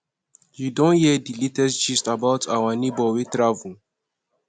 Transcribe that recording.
you don hear di latest gist about our neighbour wey travel